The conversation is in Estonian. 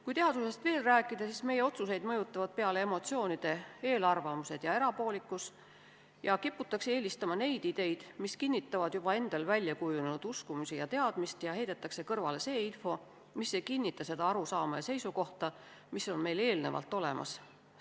Kui teadusest veel rääkida, siis meie otsuseid mõjutavad peale emotsioonide eelarvamused ja erapoolikus ning kiputakse eelistama neid ideid, mis kinnitavad juba endal väljakujunenud uskumusi ja teadmist, ja heidetakse kõrvale see info, mis ei kinnita seda arusaama ja seisukohta, mis on meil eelnevalt olemas.